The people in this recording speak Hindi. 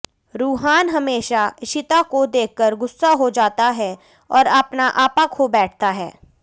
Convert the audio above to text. रूहान हमेशा इशिता को देखकर गुस्सा हो जाता है और अपना आपा खो बैठता है